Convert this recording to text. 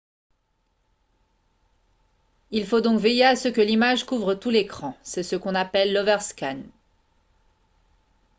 il faut donc veiller à ce que l'image couvre tout l'écran c'est ce qu'on appelle l'overscan